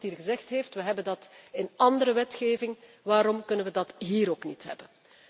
Iemand hier heeft gezegd wij hebben dat in andere wetgeving, waarom kunnen wij dat hier ook niet hebben?